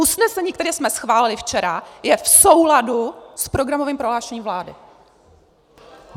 Usnesení, které jsme schválili včera, je v souladu s programovým prohlášením vlády!